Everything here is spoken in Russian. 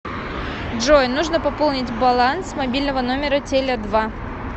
джой нужно пополнить баланс мобильного номера теле два